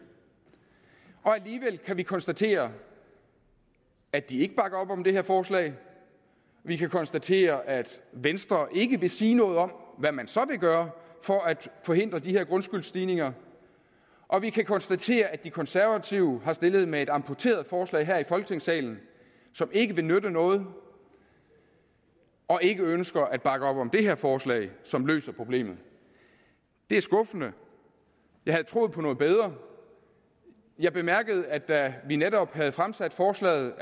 alligevel kan vi konstatere at de ikke bakker op om det her forslag vi kan konstatere at venstre ikke vil sige noget om hvad man så vil gøre for at forhindre de her grundskyldsstigninger og vi kan konstatere at de konservative har stillet med et amputeret forslag her i folketingssalen som ikke vil nytte noget og ikke ønsker at bakke op om det her forslag som løser problemet det er skuffende jeg havde troet på noget bedre jeg bemærkede at da vi netop havde fremsat forslaget